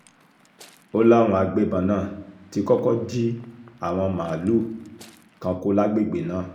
ó láwọn agbébọn náà ti kọ́kọ́ jí àwọn màálùú kan kó lágbègbè náà